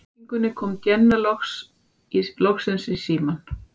Á síðustu hringingunni kom Jenna loksins í símann.